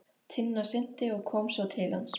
Tinna synti og kom svo til hans.